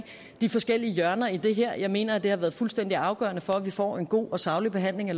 de forskellige hjørner i det her jeg mener at det har været fuldstændig afgørende for at vi får en god og saglig behandling af